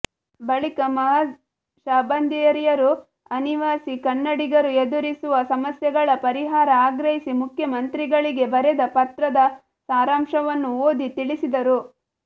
ಬಳಿಕ ಮಾಅಜ್ ಶಾಬಂದರಿಯವರು ಅನಿವಾಸಿ ಕನ್ನಡಿಗರು ಎದುರಿಸುವ ಸಮಸ್ಯೆಗಳ ಪರಿಹಾರ ಆಗ್ರಹಿಸಿ ಮುಖ್ಯಮಂತ್ರಿಗಳಿಗೆ ಬರೆದ ಪತ್ರದ ಸಾರಾಂಶವನ್ನು ಓದಿ ತಿಳಿಸಿದರು